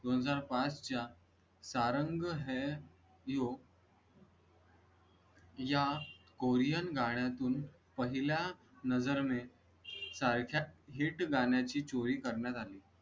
सन दोन ह्जार पांच च्या सारंग हे यू या कोरियन गाण्या तून पहिला नजर में सारख्या hit गाण्या ची चोरी करण्यात आली.